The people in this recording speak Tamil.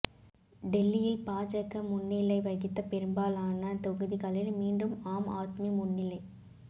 டெல்லியில் பாஜக முன்னிலை வகித்த பெரும்பாலான தொகுதிகளில் மீண்டும் ஆம் ஆத்மி முன்னிலை